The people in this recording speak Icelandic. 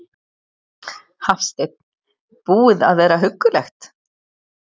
Hafsteinn: Búið að vera huggulegt?